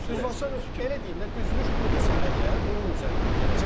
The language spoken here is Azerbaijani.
Elə deyim də, düzülüş budursa əgər, bunun üzərindən gedəcəm.